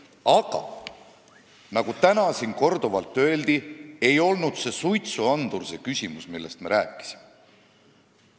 Aga nagu siin täna juba korduvalt öeldud on, ei olnud suitsuandurid see küsimus, millest meie rääkisime.